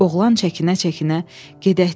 Oğlan çəkinə-çəkinə: "Gedək" dedi.